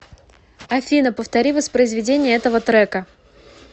афина повтори воспроизведение этого трека